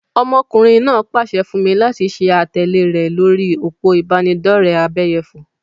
Ọmọkùnrin náà pase fún mi láti ṣe àtẹ̀lé rẹ lórí òpó ìbánidọ́rẹ̀ abẹ́yẹfò.